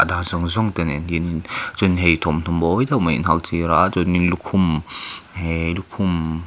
a zawng zawng te nen hianin chuan hei thawmhnaw mawi deuh mai an haktir a chuanin lukhum lukhum --